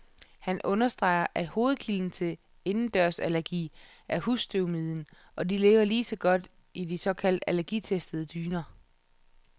Han understreger, at hovedkilden til indendørsallergi er husstøvmiden, og de lever lige så godt i de såkaldt allergitestede dyner.